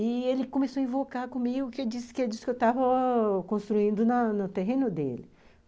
E ele começou a invocar comigo, que disse que disse eu estava construindo no terreno dele.